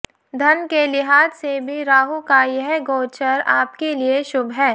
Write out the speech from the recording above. धन के लिहाज से भी राहू का यह गोचर आपके लिए शुभ है